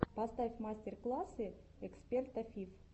поставь мастер классы эксперта фиф